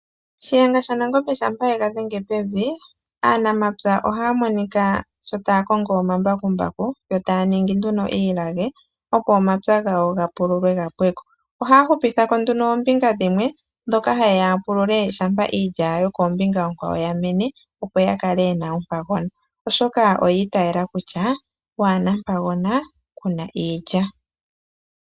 Shiyenga shaNangombe shampa ye ga dhenge pevi, aanamapya ohaa monika sho taa kongo omambakumbaku, yo taa ningi nduno iilage, opo omapya gawo ga pululwe ga pwe ko. Ohaa hupitha ko nduno oombinga dhimwe, ndhoka haye ya ya pulule shampa iilya yokoombinga oonkwawo ya mene, opo ya kale ye na ompagona, oshoka oya itaala kutya "waa na mpagona, ku na iilya".